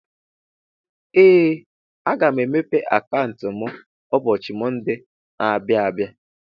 Ee! Aga m emepe akauntu mụ ụbọchị Monde na - abịa abịa.